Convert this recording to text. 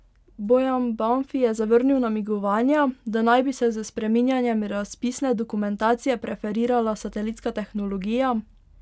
Bojan Banfi je zavrnil namigovanja, da naj bi se s spreminjanjem razpisne dokumentacije preferirala satelitska tehnologija.